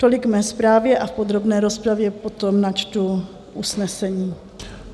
Tolik k mé zprávě a v podrobné rozpravě potom načtu usnesení.